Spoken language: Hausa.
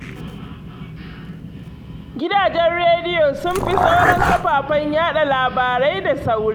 Gidajen rediyo sun fi sauran kafafen yaɗa labarai da sauri